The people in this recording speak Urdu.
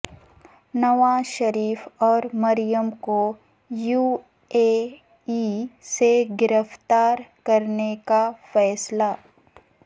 نواز شریف اور مریم کو یو اے ای سے گرفتار کرنے کا فیصلہ